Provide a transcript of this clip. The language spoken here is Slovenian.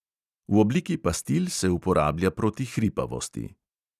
V obliki pastil se uporablja proti hripavosti.